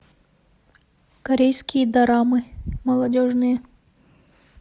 корейские дорамы молодежные